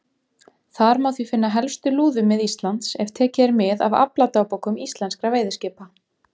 Þar má því finna helstu lúðumið Íslands, ef tekið er mið af afladagbókum íslenskra veiðiskipa.